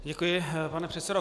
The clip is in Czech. Děkuji, pane předsedo.